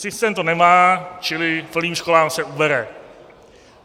Systém to nemá, čili plným školám se ubere.